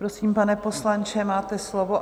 Prosím, pane poslanče, máte slovo.